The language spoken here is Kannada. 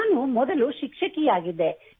ನಾನು ಮೊದಲು ಶಿಕ್ಷಕಿಯಾಗಿದ್ದೆ